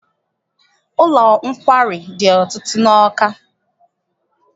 Ụlọ nkwari dị ọtụtụ n'Awka.